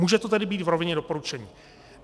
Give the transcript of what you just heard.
Může to tedy být v rovině doporučení.